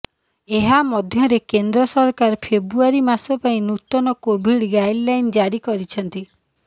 ଏହା ମଧ୍ୟରେ କେନ୍ଦ୍ର ସରକାର ଫେବୃଆରୀ ମାସ ପାଇଁ ନୂତନ କୋଭିଡ୍ ଗାଇଡ୍ଲାଇନ୍ ଜାରି କରିଛନ୍ତି